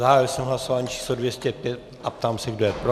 Zahájil jsem hlasování číslo 205 a ptám se, kdo je pro.